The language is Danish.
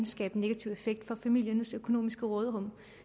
skabe en negativ effekt for familiernes økonomiske råderum